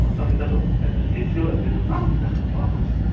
অট্টালিকাটোত এটা এ_চি ও লাগি থকা দেখা পোৱা গৈছে।